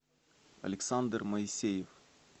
александр моисеев